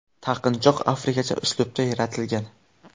Taqinchoq afrikacha uslubda yaratilgan.